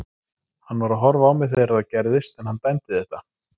Hann var að horfa á mig þegar þetta gerðist en hann dæmdi þetta.